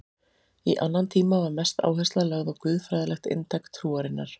Í annan tíma var mest áhersla lögð á guðfræðilegt inntak trúarinnar.